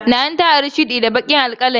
Nana ta ari shudi da baƙin alkalamina.